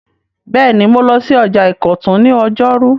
Bẹ́ẹ̀ni, mo lọ sí ọjà ìkọ̀tún ní ọjọ́rú